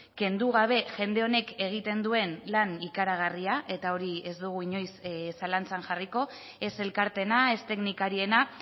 kendu gabe jende honek egiten duen lan ikaragarria eta hori ez dugu inoiz zalantzan jarriko ez elkarteena ez teknikariena